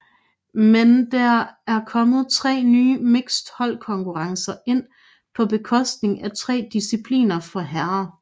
Men der er kommet 3 nye mixed holdkonkurrencer ind på bekostning af 3 discipliner for herrer